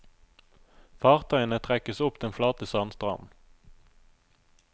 Fartøyene trekkes opp den flate sandstranden.